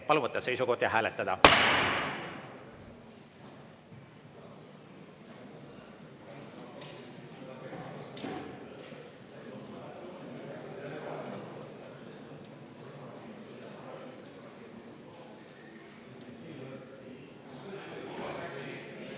Palun võtta seisukoht ja hääletada!